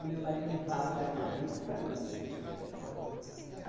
O meu marido é que fala para mim, ah, vende